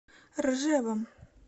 ржевом